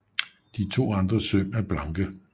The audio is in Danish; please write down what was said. De to andre søm er blanke